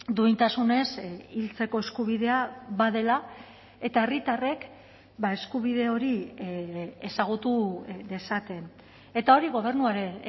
duintasunez hiltzeko eskubidea badela eta herritarrek eskubide hori ezagutu dezaten eta hori gobernuaren